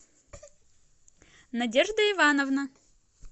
надежда ивановна